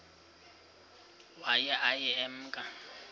waye aye emke